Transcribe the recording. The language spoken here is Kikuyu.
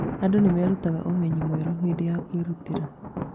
Andũ nĩ merutaga ũmenyi mwerũ hĩndĩ ya kwĩrutĩra.